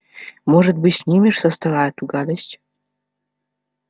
может быть снимешь со стола эту гадость